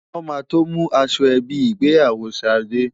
Wọn máa tó mú aṣọ ẹbí ìgbéyàwó Ṣadé.